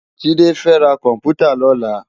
JIde fè rá kòmpútâ lòlá